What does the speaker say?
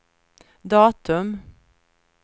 datum